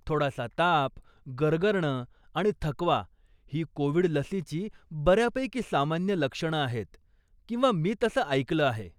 थोडासा ताप, गरगरणं आणि थकवा ही कोविड लसीची बऱ्यापैकी सामान्य लक्षणं आहेत किंवा मी तसं ऐकलं आहे.